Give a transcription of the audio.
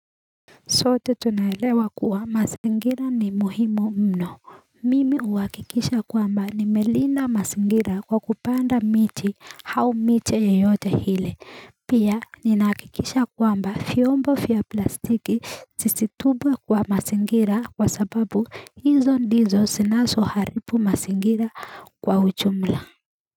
Sote tunaelewa kuwa mazingira ni muhimu mno mimi huhakikisha kwamba nimelinda mazingira kwa kupanda miti au miti yoyote ile pia ninahqkikisha kwamba vyombo fia plastiki zisitupwe kwa mazingira kwa sababu hizo ndizo zinazo haribu mazingira kwa ujumla.